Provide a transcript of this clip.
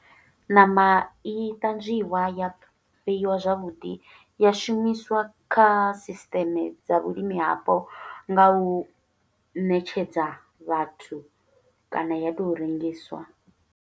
Ṋama i ṱanzwiwa, ya fheyiwa zwavhuḓi, ya shumiswa kha sisiṱeme dza vhulimi hapo nga u ṋetshedza vhathu, kana ya to rengiswa.